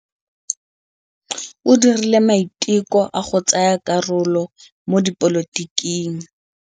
O dirile maitekô a go tsaya karolo mo dipolotiking.